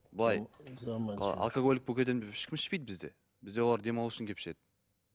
былай алкоголик болып кетемін деп ешкім ішпейді бізде бізде олар демалу үшін келіп ішеді